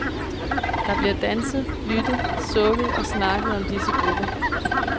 Der bliver danset, lyttet, sukket og snakket om disse grupper.